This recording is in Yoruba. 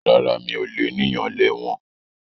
Rárá mi ò lénìyàn lẹ́wọ̀n